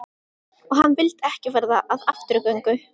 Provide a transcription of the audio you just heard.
Og hann vildi ekki verða að afturgöngu.